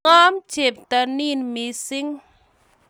Ngom chepto nin mising